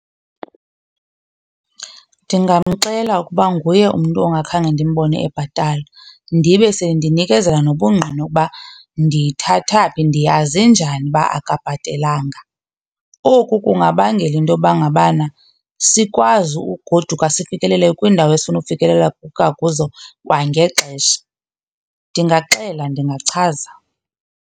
Ndingamxela ukuba nguye umntu ongakhange ndimbone ebhatala ndibe sendinikezela nobungqina ukuba ndiyithatha phi, ndiyaze njani uba akabhatelanga. Oku kungabangela into yoba ngabana sikwazi ugoduka sifikelele kwiindawo esifuna ufikelela kuzo kwangexesha. Ndingaxela, ndingachaza.